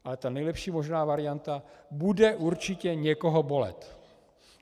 Ale ta nejlepší možná varianta bude určitě někoho bolet.